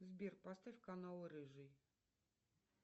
сбер поставь канал рыжий